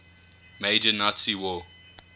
major nazi war